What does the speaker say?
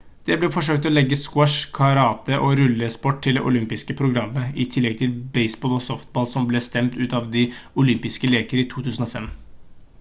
det ble forsøkt å legge squash karate og rullesport til det olympiske programmet i tillegg til baseball og softball som ble stemt ut av de olympiske leker i 2005